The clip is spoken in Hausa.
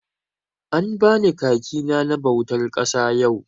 An bani kaki na na bautar ƙasa yau.